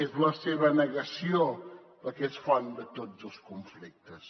és la seva negació la que és font de tots els conflictes